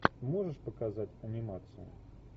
можешь показать анимацию